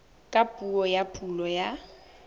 ka puo ya pulo ya